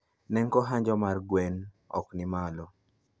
Nengo hanjo mag gwen okni malo